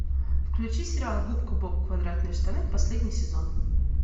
включи сериал губка боб квадратные штаны последний сезон